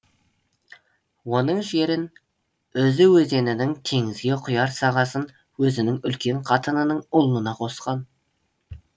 оның жерін үзі өзенінің теңізге құяр сағасын өзінің үлкен қатынының ұлына қосқан